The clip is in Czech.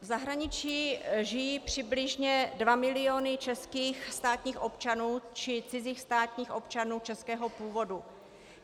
V zahraničí žijí přibližně dva miliony českých státních občanů či cizích státních občanů českého původu.